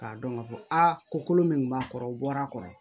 K'a dɔn k'a fɔ aa ko kolo min b'a kɔrɔ o bɔra kɔrɔ